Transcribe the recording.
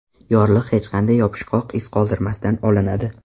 Yorliq hech qanday yopishqoq iz qoldirmasdan olinadi.